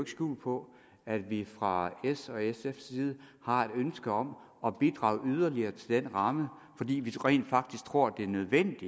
skjul på at vi fra s og sfs side har et ønske om at bidrage yderligere til den ramme fordi vi rent faktisk tror det er nødvendigt